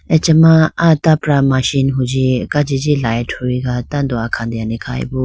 achama tapra machi machine hunji kajiji light huyega tando akhatene khyboo.